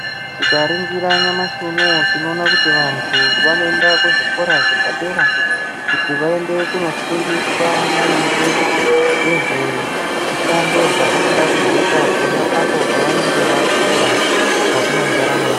Tikaringira nyamashi unou tinoona kuti vantu vanoenda kuzvikora zvepadera, kuti vaende kunofundiswa maringe ngezvemishando dzevanoda kuzoita, pona apo pevanenge vakura mukati mwendaramo yavo.